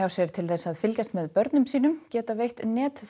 sér til þess að fylgjast með börnum sínum geta veitt